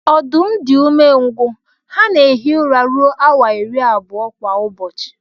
Ọdụm di umengwụ ha na ehi ụra rụọ awa iri abụọ kwa ụbọchi.